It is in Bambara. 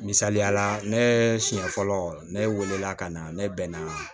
Misaliyala ne siɲɛ fɔlɔ ne welela ka na ne bɛ na